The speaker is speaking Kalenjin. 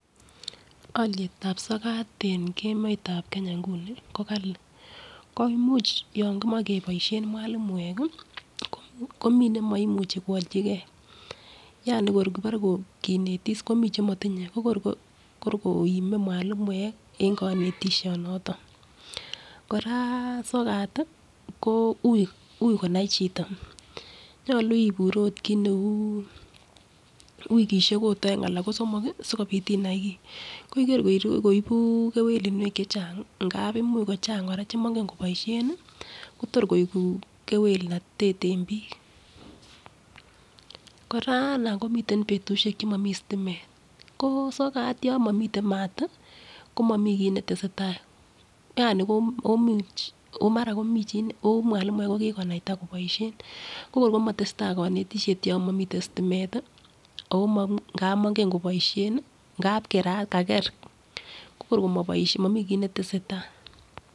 Olietab sokat en emetab Kenya inguni ko Kali ko imuch yon kimoche keboishen mwalimuek kii komii nemoimuche ko olchigee Yani kor kobore kinetis komii chemotinye ko kor komie mwalimuek en konetisho noton. Koraa sokat tii ko ui konai chito nyolu ibur ot kit neu wikishek ot oeng ana kosomoki sikopit inai kii kor kor koibu kewelunwek chechang ngap imuch koraa chemingen koboishen nii Kotor koiku kewelnotet en bik. Koraa nan komiten betushek chemomii stimet ko sokat yon momiten mat tii komii kii netesetai Yani komuch omara mi chii omwalimuek ko kikonaita ko kikonaita koboishen ko kor komotesetai konetishet yon momiten stimet tii Omo ngap mongen koboishen nii ngap kerat kager ko kor moboishe momii kii netesetai.